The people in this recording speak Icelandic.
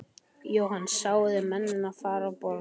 Jóhann: Sáu þið mennina fara frá borði?